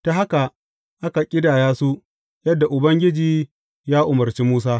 Ta haka aka ƙidaya su, yadda Ubangiji ya umarci Musa.